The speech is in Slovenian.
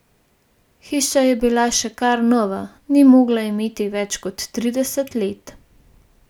Hiša je bila še kar nova, ni mogla imeti več kot trideset let.